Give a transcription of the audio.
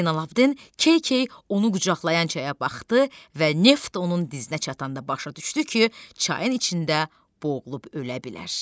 Zeynalabidin key-key onu qucaqlayan çaya baxdı və neft onun dizinə çatanda başa düşdü ki, çayın içində boğulub ölə bilər.